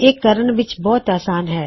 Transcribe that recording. ਇਹ ਕਰਨ ਵਿੱਚ ਬਹੁਤ ਅਸਾਨ ਹੈ